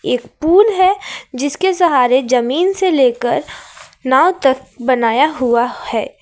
एक पूल है जिसके सहारे जमीन से लेकर नाव तक बनाया हुआ है।